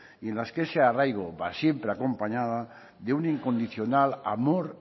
y en las que se arraigo va siempre acompañado de un incondicional amor